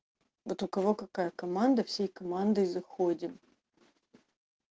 это у кого какая команда всей командой заходим